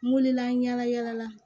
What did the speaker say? N wulila ɲala yala la